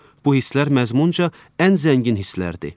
Bu hisslər məzmunca ən zəngin hisslərdir.